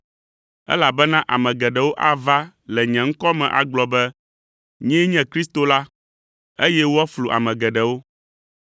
elabena ame geɖewo ava le nye ŋkɔ me agblɔ be, ‘Nyee nye Kristo la,’ eye woaflu ame geɖewo.